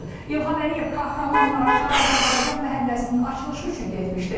İlham Əliyev Kahramanmaraşa Azərbaycan məhəlləsinin açılışı üçün getmişdi.